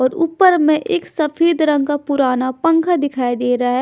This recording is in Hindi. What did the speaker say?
और ऊपर में एक सफेद रंग का पुराना पंखा दिखाई दे रहा है।